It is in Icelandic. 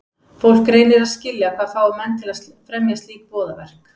fólk reynir að skilja hvað fái menn til að fremja slík voðaverk